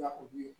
Nakɔ dun